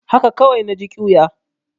Haka kawai na ji ƙyuya.